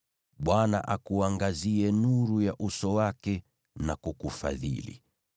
Bwana akuangazie nuru ya uso wake na kukufadhili;